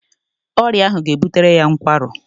Ọrịa ahụ ga-ebutere ya nkwarụ